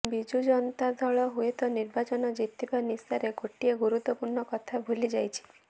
ବିଜୁ ଜନତା ଦଳ ହୁଏତ ନିର୍ବାଚନ ଜିତିବା ନିଶାରେ ଗୋଟିଏ ଗୁରୁତ୍ୱପୂର୍ଣ୍ଣ କଥା ଭୁଲି ଯାଇଛି